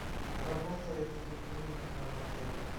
работает ли клиника в отеле